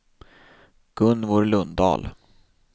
Gunvor Lundahl